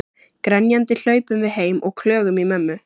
Grenjandi hlaupum við heim og klögum í mömmu.